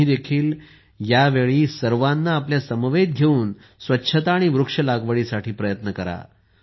तुम्ही देखील ह्या वेळी सर्वांना आपल्या समवेत घेऊन स्वच्छता व वृक्ष लागवडीसाठी प्रयत्न करा